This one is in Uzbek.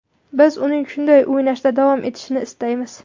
Biz uning shunday o‘ynashda davom etishini istaymiz.